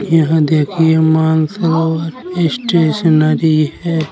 यहाँ देखिये मानसरोवर स्टेशनरी है।